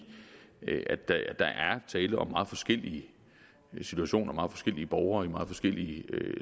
der er tale om meget forskellige situationer om meget forskellige borgere i meget forskellige